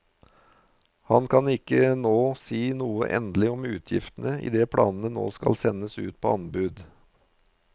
Han kan ikke nå si noe endelig om utgiftene idet planene nå skal sendes ut på anbud.